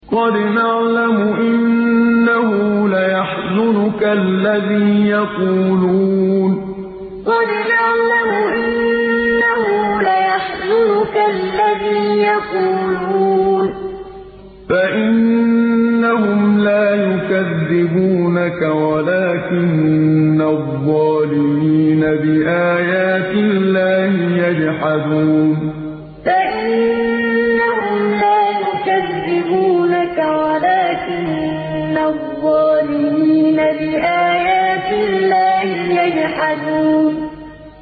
قَدْ نَعْلَمُ إِنَّهُ لَيَحْزُنُكَ الَّذِي يَقُولُونَ ۖ فَإِنَّهُمْ لَا يُكَذِّبُونَكَ وَلَٰكِنَّ الظَّالِمِينَ بِآيَاتِ اللَّهِ يَجْحَدُونَ قَدْ نَعْلَمُ إِنَّهُ لَيَحْزُنُكَ الَّذِي يَقُولُونَ ۖ فَإِنَّهُمْ لَا يُكَذِّبُونَكَ وَلَٰكِنَّ الظَّالِمِينَ بِآيَاتِ اللَّهِ يَجْحَدُونَ